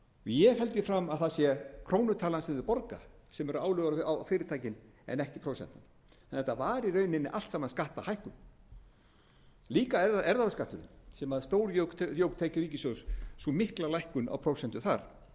ég held því fram að það sé krónutalan sem þau borga sem eru álögur á fyrirtækin en ekki prósentan en þetta var í rauninni allt saman skattahækkun líka erfðafjárskatturinn sem stórjók tekjur ríkissjóðs sú mikla lækkun á prósentu þar svo